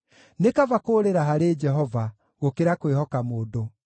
Nĩ kaba kũũrĩra harĩ Jehova, gũkĩra kwĩhoka mũndũ.